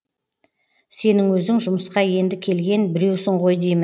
сенің өзің жұмысқа енді келген біреусің ғой деймін